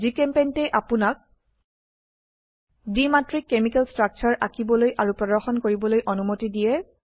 জিচেম্পেইণ্ট এ আপোনাক দ্বিমাত্ৰিক কেমিকেল স্ট্ৰাকচাৰ আঁকিবলৈ আৰু প্ৰদৰ্শন কৰিবলৈ অনুমতি দিয়ে